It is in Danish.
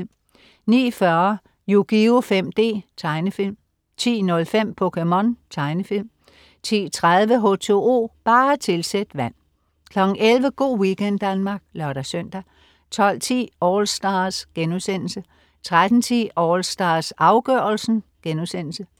09.40 Yugioh 5D. Tegnefilm 10.05 POKéMON. Tegnefilm 10.30 H2O, bare tilsæt vand 11.00 Go' weekend Danmark (lør-søn) 12.10 AllStars* 13.10 AllStars, afgørelsen*